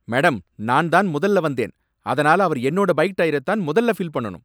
Madam! நான் தான் முதல்ல வந்தேன். அதனால அவர் என்னோட பைக் டயரை தான் முதல்ல ஃபில் பண்ணணும்.